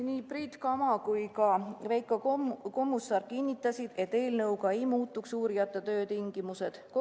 Nii Priit Kama kui ka Veiko Kommusaar kinnitasid, et uurijate töötingimused ei muutuks.